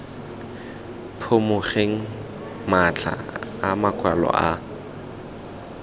phimogeng matlha a makwalo a